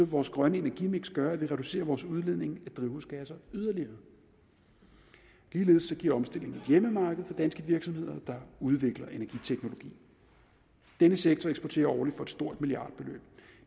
vores grønne energimiks gøre at vi reducerer vores udledning af drivhusgasser yderligere ligeledes giver omstillingen et hjemmemarked for danske virksomheder der udvikler energiteknologi denne sektor eksporterer årligt for et stort milliardbeløb